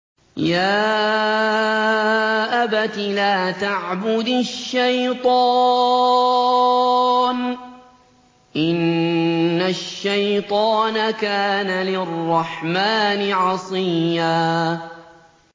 يَا أَبَتِ لَا تَعْبُدِ الشَّيْطَانَ ۖ إِنَّ الشَّيْطَانَ كَانَ لِلرَّحْمَٰنِ عَصِيًّا